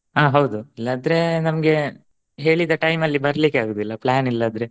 ಹಾ ಹೌದು ಇಲ್ಲಾದ್ರೆ ನಮ್ಗೆ ಹೇಳಿದ time ಲಿ ಬರಲಿಕೆ ಆಗುದಿಲ್ಲ plan ಇಲ್ಲದ್ರೆ.